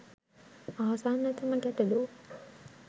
ආසන්නතම ගැටළු